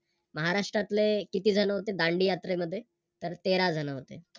महाराष्ट्रातले किती जण होते दांडीयात्रे मध्ये तर तेरा जण होते.